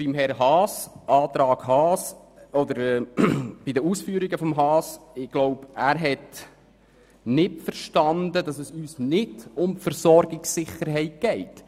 Aufgrund der Ausführungen von Grossrat Haas glaube ich, er hat nicht verstanden, dass es uns nicht um die Versorgungssicherheit geht.